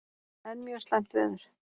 Enn mjög slæmt veður